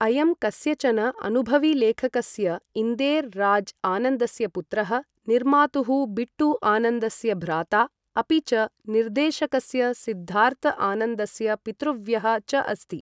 अयं कस्यचन अनुभवीलेखकस्य इंदेर् राज् आनंदस्य पुत्रः, निर्मातुः बिट्टू आनंदस्य भ्राता, अपि च निर्देशकस्य सिद्धार्थ आनंदस्य पितृव्यः च अस्ति।